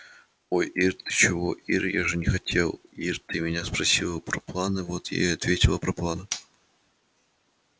ой ир ты чего ир я же не хотел ир ты меня спросила про планы вот я и ответил про планы